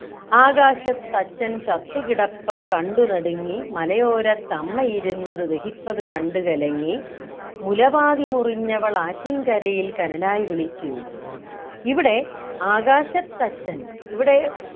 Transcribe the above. ആകാശത്തച്ഛൻ ചത്തുകിടപ്പതു കണ്ടു നടുങ്ങി മലയോരത്തമ്മയിരുന്നത് ദഹിപ്പതു കണ്ടു കലങ്ങി മുല പാതി മുറിഞ്ഞവളാറ്റിൻകരയിൽ കനലായി വിളിച്ചു ഇവിടെ ആകാശത്തച്ഛൻ ഇവിടെ